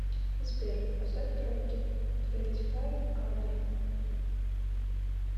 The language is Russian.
сбер поставь тропики твэнтифайв кадр